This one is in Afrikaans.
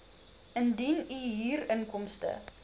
indien u huurinkomste